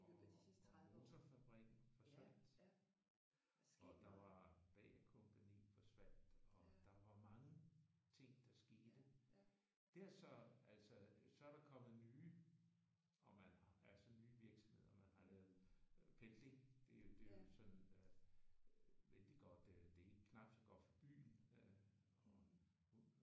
Og og og motorfabrikken forsvandt. Og der var Bagh-kompagni forsvandt og der var mange ting der skete. Det har så altså så er der kommet nye og man har altså nye virksomheder og man har lavet pendling det er jo det er jo sådan vældig godt. Det er ikke helt knapt så godt for byen